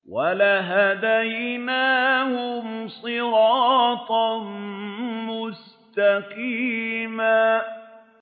وَلَهَدَيْنَاهُمْ صِرَاطًا مُّسْتَقِيمًا